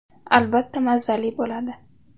Albatta, mazali bo‘ladi.